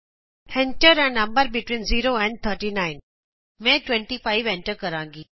Enter a number between 0 and 39 ਮੈਂ 25 enter ਕਰਾਂਗੀ